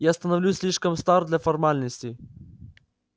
я становлюсь слишком стар для формальностей